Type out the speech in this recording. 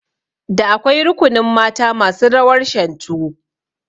Da akwai rukunin mata masu rawar Shantu